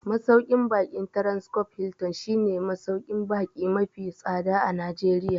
Masauƙin baƙin Transcorp Hilton shi ne masauƙin baƙi mafi tsada a Najeriya